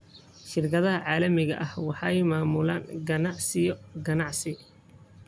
Shirkadaha caalamiga ah waxay maamulaan ganacsiyo ganacsi.